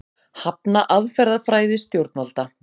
Hafna aðferðafræði stjórnvalda